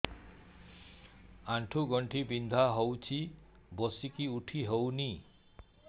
ଆଣ୍ଠୁ ଗଣ୍ଠି ବିନ୍ଧା ହଉଚି ବସିକି ଉଠି ହଉନି